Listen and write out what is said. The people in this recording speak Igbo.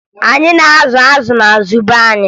Anyị na-azụ azụ n'azụ be anyị